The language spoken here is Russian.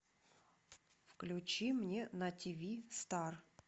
включи мне на тиви стар